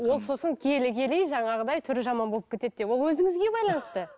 ол сосын келе келе жаңағыдай түрі жаман болып кетеді деп ол өзіңізге байланысты